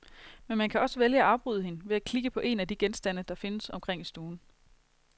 Men man kan også vælge af afbryde hende ved at klikke på en af de genstande, der findes rundt omkring i stuen.